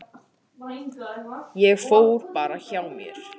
Ég fór bara hjá mér.